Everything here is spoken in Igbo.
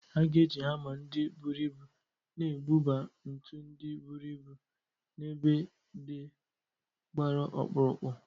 A ga-eji hama ndị buru ibu na-ebuba ntu ndị buru ibu n'ebe ndị gbara ọkpụrụkpụ